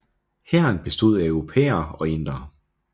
Hæren bestod af europæere og indere